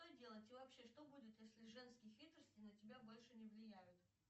что делать и вообще что будет если женские хитрости на тебя больше не влияют